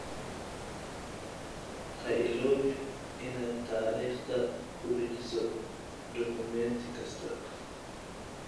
Ha iloobin inaad taariikhda ku dhejiso dukumeenti kasta.